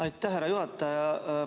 Aitäh, härra juhataja!